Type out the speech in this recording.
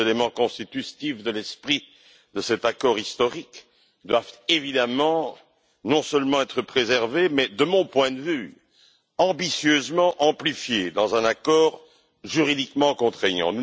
Ces éléments constitutifs de l'esprit de cet accord historique doivent évidemment non seulement être préservés, mais de mon point de vue, ambitieusement amplifiés dans un accord juridiquement contraignant.